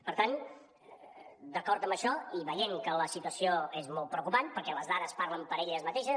per tant d’acord amb això i veient que la situació és molt preocupant perquè les dades parlen per elles mateixes